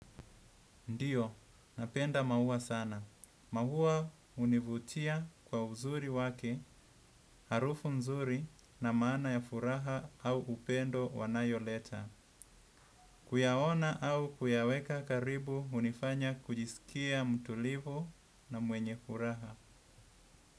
Ndiyo, napenda maua sana. Maua hunivutia kwa uzuri wake, harufu mzuri na maana ya furaha au upendo wanayoleta. Kuyaona au kuyaweka karibu hunifanya kujisikia mtulivu na mwenye furaha.